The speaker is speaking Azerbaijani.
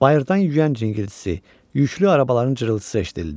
Bayırdan yüyən rinqıltısı, yüklü arabaların cırıltısı eşidilirdi.